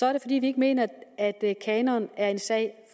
er det fordi vi ikke mener at kanon er en sag